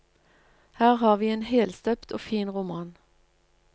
Her har vi en helstøpt og fin roman.